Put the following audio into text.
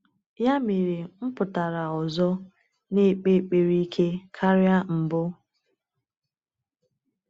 Ya mere, m pụtara ọzọ, na-ekpe ekpere ike karịa mbụ.